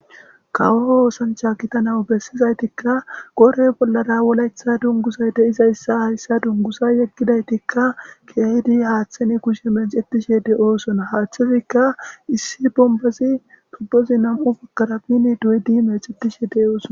Kawo oosancha gidanaw besizaytika qodhe bollara wolaytha dunguzoy de'izaysa keehidi haysa dunguza yegidaytika keehidi haysa haathan kushe meecetishe de'osona haathezika issi tubozi nam'u bagara diin doyidi meecetishe de'osona.